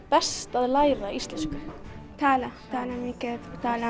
best að læra íslensku tala tala